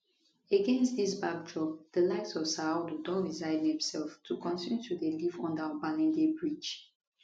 against dis backdrop di likes of saadu don resign demselves to kontinu to dey live under obalende bridge